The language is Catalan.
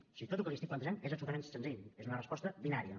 o sigui tot el que li estic plantejant és absolutament senzill és una resposta binària